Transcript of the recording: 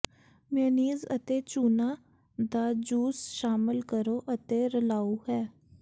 mayonnaise ਅਤੇ ਚੂਨਾ ਦਾ ਜੂਸ ਸ਼ਾਮਿਲ ਕਰੋ ਅਤੇ ਰਲਾਉ ਹੈ